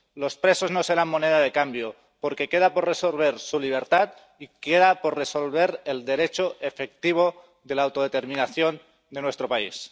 Los presos no serán moneda de cambio, porque queda por resolver su libertad y queda por resolver el derecho efectivo de la autodeterminación de nuestro país.